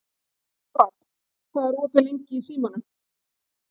Kaspar, hvað er opið lengi í Símanum?